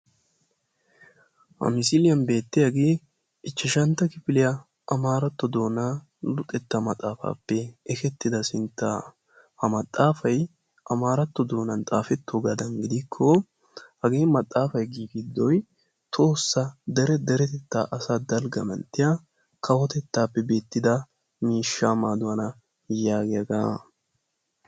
Ha misiliyan beettiyagee ichchashantta kifiliya amaaratto doona luxetta maxxaafaappe ekettida sinttaa. Ha maxxaafay amaaratto doonan xaafettoogaadan gidikko hagee maxxaafay giigidoy tohossa dere deretettaa asaa dalgga manttiya kawotettaappe beettida kawotettaa miishshaa maaduwana yaagiyagaa.